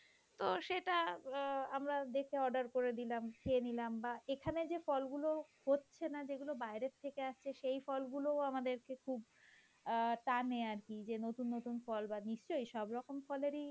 তো সেটা অ্যাঁ আমরা দেখে order করে দিলাম বাহঃ খেয়ে নিলাম বা এখানে যে ফলগুলো হচ্ছে না যেগুলো বাইরে থেকে আসছে সেই ফলগুলো আমাদেরকে খুব অ্যাঁ টানে আর কি যে নতুন নতুন ফল বাহঃ নিশ্চয়ই সব রকম ফলেরই